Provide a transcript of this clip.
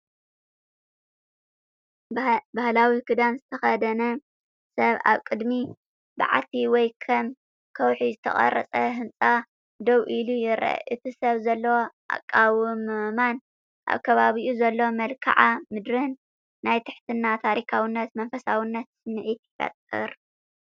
ባህላዊ ክዳን ዝተኸድነ ሰብ ኣብ ቅድሚ በዓቲ ወይ ካብ ከውሒ ዝተቐርጸ ህንጻ ደው ኢሉ ይረአ። እቲ ሰብ ዘለዎ ኣቃውማን ኣብ ከባቢኡ ዘሎ መልክዓ ምድርን ናይ ትሕትናን ታሪኻውነትን መንፈሳውነትን ስምዒት ይፈጥር።